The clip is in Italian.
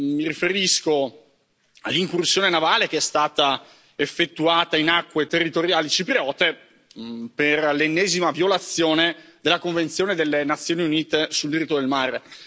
Mi riferisco all'incursione navale che è stata effettuata in acque territoriali cipriote per l'ennesima violazione della Convenzione delle Nazioni Unite sul diritto del mare.